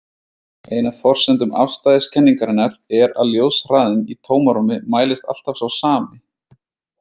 Ein af forsendum afstæðiskenningarinnar er að ljóshraðinn í tómarúmi mælist alltaf sá sami.